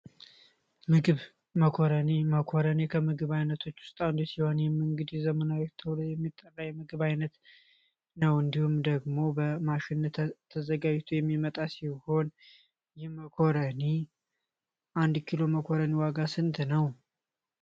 ምግብ መኮረኒ መኮረኒ ከምግብ አይነቶች ውስጥ አንዱ ሲሆን ይህም እንግዲህ ዘመናዊ ከሚባሉ የምግብ አይነቶች ውስጥ ነው እንዲሁም ደግሞ በማሽን ተዘጋጅቶ የሚመጣ ሲሆን ይህ መኮረኒ የአንድ ኪሎ መኮረኒ ዋጋ ስንት ነው?